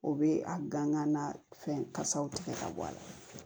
O bɛ a gangan fɛn kasaw tigɛ ka bɔ a la